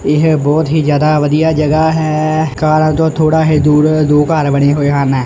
ਏਹ ਬੋਹੁਤ ਹੀ ਜਿਆਦਾ ਵਧੀਆ ਜਗਾਹ ਹੈ ਕਾਰਾਂ ਤੋਂ ਥੋੜ੍ਹਾ ਹੀ ਦੂਰ ਦੋ ਘੱਰ ਬਣੇ ਹੋਏ ਹਨ।